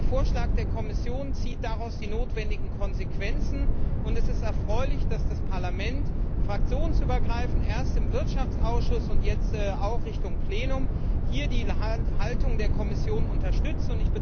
Der Vorschlag der Kommission zieht daraus die notwendigen Konsequenzen, und es ist erfreulich, dass das Parlament fraktionsübergreifend erst im Wirtschaftsausschuss und jetzt auch Richtung Plenum hier die Haltung der Kommission unterstützt.